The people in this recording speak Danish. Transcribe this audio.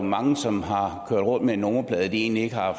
mange som har kørt rundt med en nummerplade de egentlig ikke har